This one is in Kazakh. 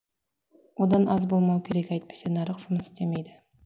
одан аз болмау керек әйтпесе нарық жұмыс істемейді